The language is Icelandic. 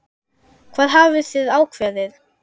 Hvað hafið þið ákveðið?